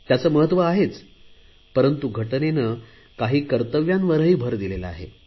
त्याचे महत्त्व आहे परंतु घटनेने काही कर्तव्यांवरही भर दिलेला आहे